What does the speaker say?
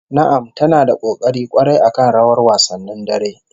Na'am ta na da kokari kwarai akan rawar wasannin dare